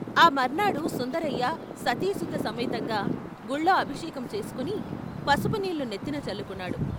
ఆ మర్నాడు సుందరయ్య సతీసుత సమేతంగా గుళ్ళో అభిషేకం చేసుకుని వసుపునీళ్లు నెత్తిన చల్లుకున్నాడు.